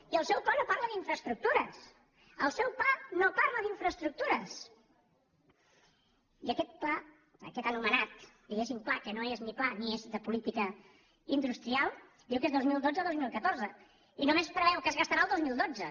i el seu pla no parla d’infraestructures el seu pla no parla d’infraestructures i aquest pla aquest anomenat pla que no és ni pla ni és de política industrial diu que és dos mil dotze dos mil catorze i només preveu què es gastarà el dos mil dotze